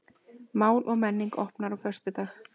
Mál og menning opnar á föstudag